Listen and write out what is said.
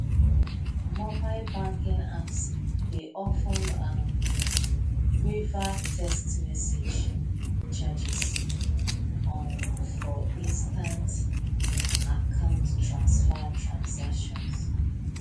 mobile banking apps dey of ten um waive test message charges um for instant account transfer transactions